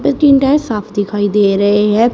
टिंडा साफ दिखाई दे रहे हैं।